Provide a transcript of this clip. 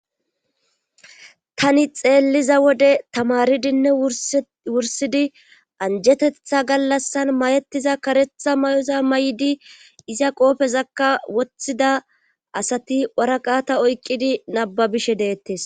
tani xeelliza wode tamaridinne wursidi anjetetha gallassan mayetiza karetha may7oza may7di iza qoofezakka woththida asati waraqata oyqqidi nababishe deettes